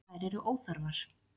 Þær eru óþarfar.